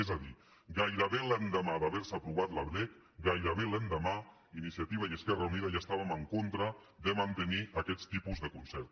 és a dir gairebé l’endemà d’haver se aprovat la lec gairebé l’endemà iniciativa i esquerra unida ja estàvem en contra de mantenir aquests tipus de concert